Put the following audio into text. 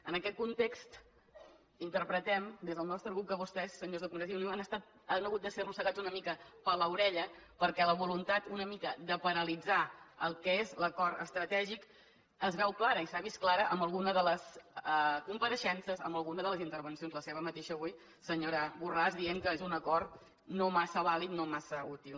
en aquest context interpretem des del nostre grup que vostès senyors de convergència i unió han hagut de ser arrossegats una mica per l’orella perquè la voluntat una mica de paralitzar el que és l’acord estratègic es veu clara i s’ha vist clara en alguna de les compareixences en alguna de les intervencions la seva mateixa avui senyora borràs dient que és un acord no massa vàlid no massa útil